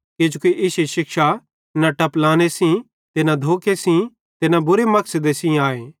किजोकि इश्शी शिक्षा न टपलाने सेइं ते न धोखे सेइं ते न बुरे मकसदे सेइं आए